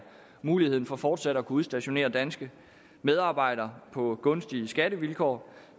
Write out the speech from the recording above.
muligheden for fortsat at kunne udstationere danske medarbejdere på gunstige skattevilkår